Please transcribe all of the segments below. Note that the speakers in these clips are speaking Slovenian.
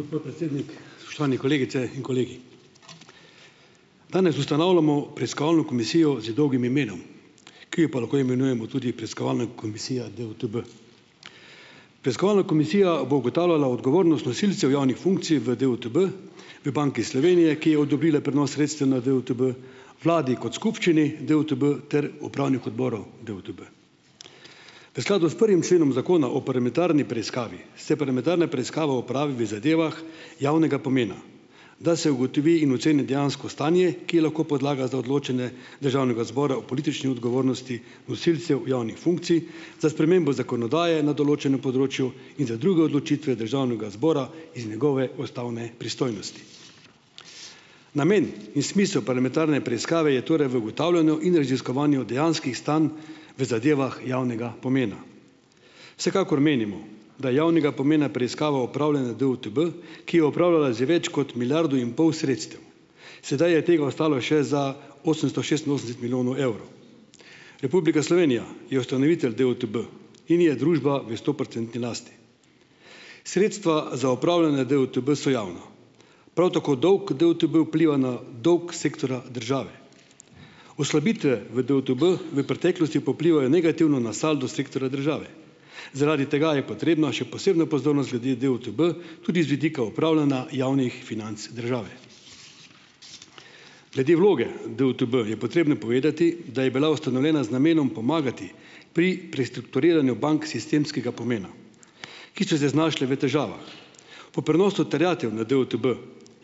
Gospod predsednik, spoštovani kolegice in kolegi, danes ustanavljamo preiskovalno komisijo z dolgim imenom, ki jo pa lahko imenujemo tudi preiskovalna komisija DUTB. Preiskovalna komisija bo ugotavljala odgovornost nosilcev javnih funkcij v DUTB, v Banki Slovenije, ki je odobrila prenos sredstev na DUTB, vladi kot skupščini DUTB ter upravnih odborov DUTB, v skladu s prvim členom zakona o parlamentarni preiskavi se parlamentarna preiskava opravi v zadevah javnega pomena, da se ugotovi in oceni dejansko stanje, ki je lahko podlaga za odločanje državnega zbora o politični odgovornosti nosilcev javnih funkcij za spremembo zakonodaje na določenem področju in za druge odločitve državnega zbora iz njegove ustavne pristojnosti. Namen in smisel parlamentarne preiskave je torej v ugotavljanju in raziskovanju dejanskih stanj v zadevah javnega pomena. Vsekakor menimo, da javnega pomena preiskava upravljanja DUTB, ki je upravljala zdaj več kot milijardo in pol sredstev, sedaj je tega ostalo še za osemsto šestinosemdeset milijonov evrov. Republika Slovenija je ustanovitelj DUTB in je družba v stoprocentni lasti. Sredstva za upravljanje DUTB so javna, prav tako dolg DUTB vpliva na dolg sektorja države, oslabitve v DUTB v preteklosti pa vplivajo negativno na saldo sektorja države, zaradi tega je potrebno še posebno pozornost glede DUTB tudi z vidika upravljanja javnih financ države. Glede vloge DUTB je potrebno povedati, da je bila ustanovljena z namenom pomagati pri prestrukturiranju bank sistemskega pomena, ki so se znašle v težavah, po prenosu terjatev na DUTB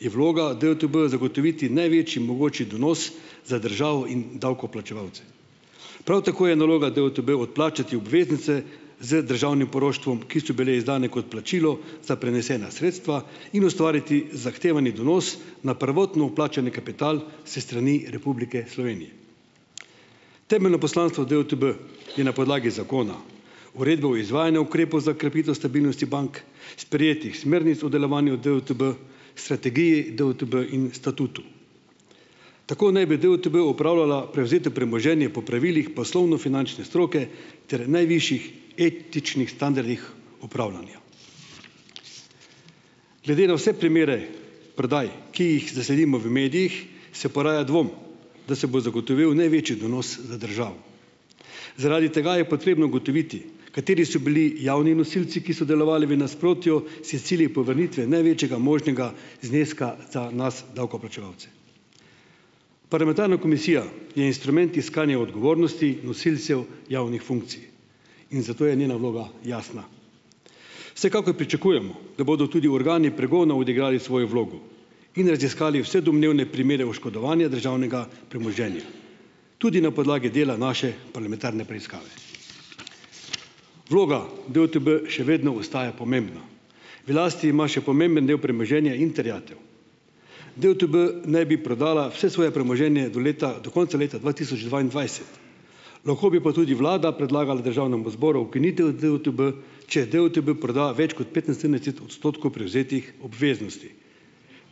je vloga DUTB zagotoviti največji mogoči donos za državo in davkoplačevalce, prav tako je naloga DUTB odplačati obveznice z državnim poroštvom, ki so bile izdane kot plačilo za prenesena sredstva, in ustvariti zahtevani donos na prvotno vplačani kapital s strani Republike Slovenije. Temeljno poslanstvo DUTB je na podlagi zakona uredba o izvajanju ukrepov za krepitev stabilnosti bank, sprejetih smernic v delovanju DUTB, strategiji DUTB in statutu, tako naj bi DUTB upravljala prevzeto premoženje po pravilih poslovno-finančne stroke ter najvišjih etičnih standardih upravljanja. Glede na vse primere prodaj, ki jih zasledimo v medijih, se poraja dvom, da se bo zagotovil največji donos za državo, zaradi tega je potrebno ugotoviti, kateri so bili javni nosilci, ki so delovali v nasprotju s cilji povrnitve največjega možnega zneska za nas davkoplačevalce. Parlamentarna komisija je instrument iskanja odgovornosti nosilcev javnih funkcij in zato je njena vloga jasna. Vsekakor pričakujemo, da bodo tudi organi pregona odigrali svojo vlogo in raziskali vse domnevne primere oškodovanja državnega premoženja tudi na podlagi dela naše parlamentarne preiskave. Vloga DUTB še vedno ostaja pomembna, v lasti ima še pomemben del premoženja in terjatev. DUTB naj bi prodala vse svoje premoženje do leta do konca leta dva tisoč dvaindvajset, lahko bi pa tudi vlada predlagala državnemu zboru ukinitev DUTB, če DUTB proda več kot odstotkov prevzetih obveznosti.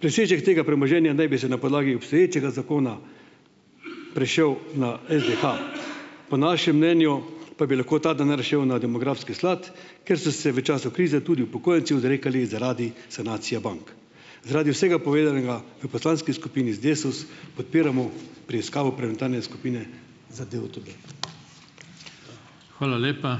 Presežek tega premoženja naj bi se na podlagi obstoječega zakona prešel na SDH, po našem mnenju pa bi lahko ta denar šel na demografski sklad, ker so se v času krize tudi upokojenci odrekali zaradi sanacije bank. Zaradi vsega povedanega v poslanski skupini Desus podpiramo preiskavo parlamentarne skupine za DUTB. Hvala lepa.